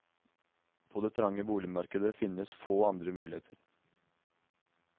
På det trange boligmarkedet finnes få andre muligheter.